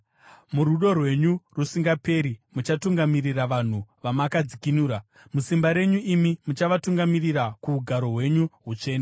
“Murudo rwenyu rusingaperi muchatungamirira vanhu vamakadzikinura. Musimba renyu imi muchavatungamirira kuugaro hwenyu hutsvene.